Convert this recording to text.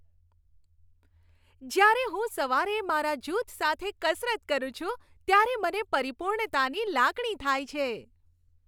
જ્યારે હું સવારે મારા જૂથ સાથે કસરત કરું છું, ત્યારે મને પરિપૂર્ણતાની લાગણી થાય છે.